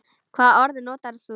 Hvaða orð notar þú þá?